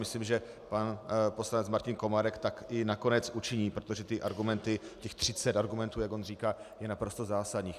Myslím, že pan poslanec Martin Komárek tak i nakonec učiní, protože ty argumenty, těch 30 argumentů, jak on říká, je naprosto zásadních.